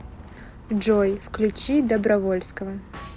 джой включи добровольского